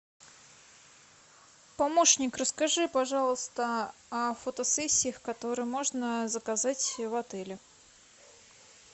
помощник расскажи пожалуйста о фотосессиях которые можно заказать в отеле